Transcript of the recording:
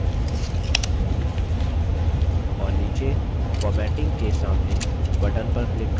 और नीचे formatting के सामने button पर click करें